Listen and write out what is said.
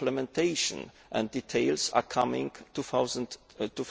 Implementation and details are coming